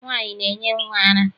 Nwaanyị na-enye nnwa ara.